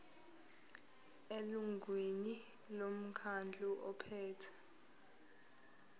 elungwini lomkhandlu ophethe